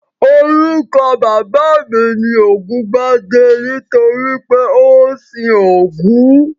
Orúkọ bàbá mi ni Ògúngbadé nítorí pé ó ń sin Ògún